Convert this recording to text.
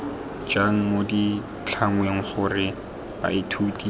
jang mo ditlhangweng gore baithuti